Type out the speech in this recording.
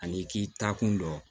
Ani i k'i taa kun dɔn